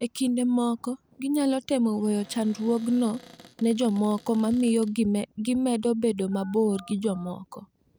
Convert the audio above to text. E kinde moko, ginyalo temo weyo chandruogno ne jomoko, ma miyo gimedo bedo mabor gi jomoko.